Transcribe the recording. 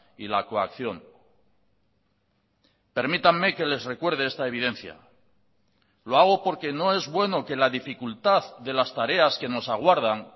y la coacción permítanme que les recuerde esta evidencia lo hago porque no es bueno que la dificultad de las tareas que nos aguardan